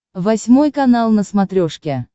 восьмой канал на смотрешке